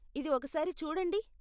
ఇది ఒక సారి చూడండి.